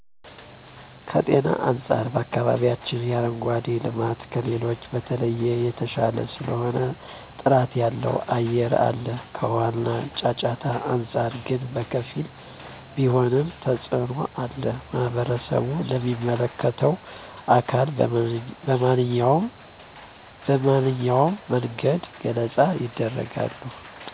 ከጤና አንፃር በአከባቢያችን የአረንጓዴ ልማት ከሌሎቹ በተለየ የተሻለ ስለሆነ ጥራት ያለው አየር አለ ከውሃ እና ጫጫታ አንፃር ግን በከፊል ቢሆንም ተፅኖ አለ ማህበረሰቡም ለሚመለከተው አካል በመንኛውም መንገድ ገለፃ የደርጋሉ።